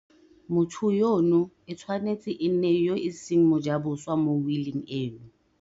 Motho yono e tshwanetse e nne yo e seng mojaboswa mo wiling eno.